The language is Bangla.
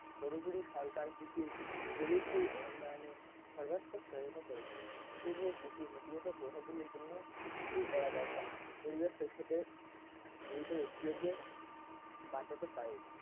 কতগুলি সরকার কৃষির প্রবৃদ্ধি ও উন্নয়নের সর্বাত্মক সহায়তা করেছে তবুও কৃষির নীতিবাচক প্রভাব গুলির জন্য কিছু করা দরকার পরিবেশ শেষ হতে জীবিত ব্যক্তিদের কে বাঁচাতে পারে